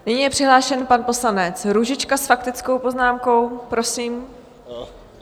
Nyní je přihlášen pan poslanec Růžička s faktickou poznámkou, prosím.